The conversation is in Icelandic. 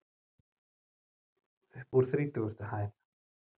Uppúr þrítugustu hæð.